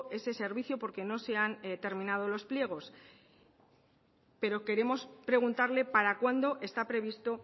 ese servicio porque no se han terminado los pliegos pero queremos preguntarle para cuándo está previsto